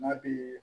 N'a bi